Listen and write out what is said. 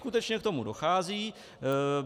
Skutečně k tomu dochází.